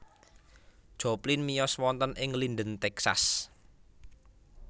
Joplin miyos wonten ing Linden Texas